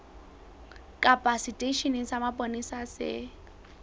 kapa seteisheneng sa mapolesa se